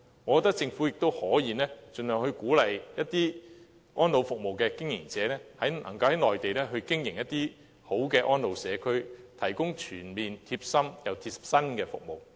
我覺得政府亦可以盡量鼓勵一些安老服務的經營者，在內地經營質素良好的安老社區，提供全面又貼心的服務。